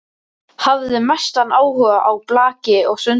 Hafði mestan áhuga á blaki og sundi.